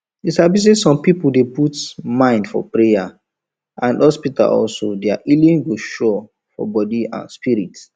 you sabi say some people dey put mine for prayer and hospitalso their healing go sure for body and spirit